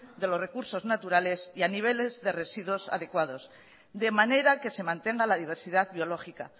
de los recursos naturales y a niveles de residuos adecuados de manera que se mantenga la diversidad biológica